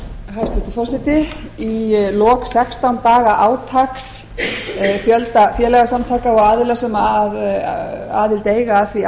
hæstvirtur forseti í lok sextán daga átaks fjölda félagasamtaka og aðila sem aðild eiga að því